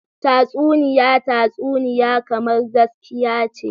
Tatsuniya tatsuniya kamar gaskiya ce.